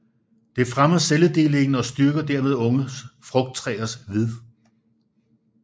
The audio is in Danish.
Det fremmer celledelingen og styrker dermed unge frugttræers ved